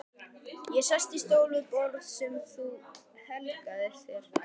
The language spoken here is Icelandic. Ég sest í stól við borð sem þú helgaðir þér.